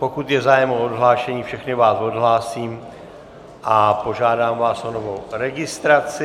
Pokud je zájem o odhlášení, všechny vás odhlásím a požádám vás o novou registraci.